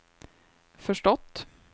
förstått